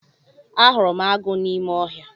Ahụrụ m agụ n'ime ọhịa.